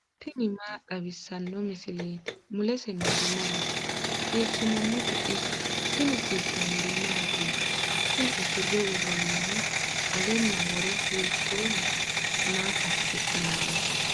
tini maa xawissanno misileeti ? mulese noori maati ? hiissinannite ise ? tini kultannori mattiya? Kunni usure woroonnihu alenna woro hiittoho? maa asi'nanni?